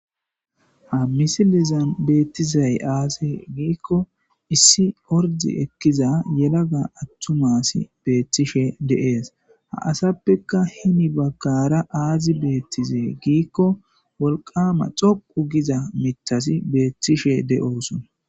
ha misilizan beettizay aase giikko issi ordi ekkiza yelaga attumasi beettishe deees ha asappeka himi baggara aazi beettize giikko wolqama xoqu giza mitasi beettishe de7osona